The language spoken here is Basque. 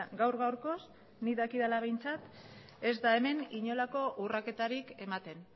gaur gaurkoz nik dakidala behintzat ez da hemen inolako urraketarik ematen